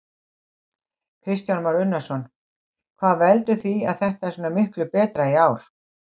Kristján Már Unnarsson: Hvað veldur því að þetta er svona miklu betra í ár?